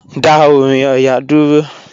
Dá orin Ọya dúró.